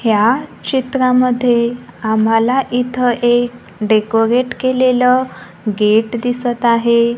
या चित्रामध्ये आम्हाला इथं एक डेकोरेट केलेले गेट दिसत आहे.